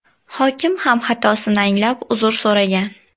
Hokim ham xatosini anglab uzr so‘ragan.